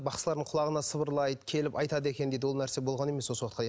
бақсылардың құлағына сыбырлайды келіп айтады екен дейді ол нәрсе болған емес осы уақытқа дейін